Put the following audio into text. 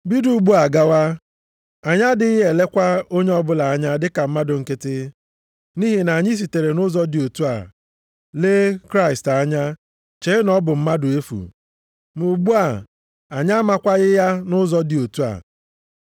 Bido ugbu a gawa, anyị adịghị elekwa onye ọbụla anya dịka mmadụ nkịtị. Nʼihi na anyị sitere nʼụzọ dị otu a lee Kraịst anya, chee na ọ bụ mmadụ efu. Ma ugbu a, anyị amakwaghị ya nʼụzọ dị otu a.